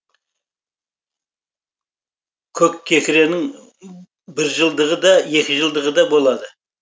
көккекіренің біржылдығы да екіжылдығы да болады